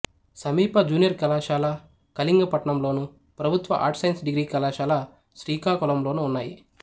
సమీప జూనియర్ కళాశాల కళింగపట్నంలోను ప్రభుత్వ ఆర్ట్స్ సైన్స్ డిగ్రీ కళాశాల శ్రీకాకుళంలోనూ ఉన్నాయి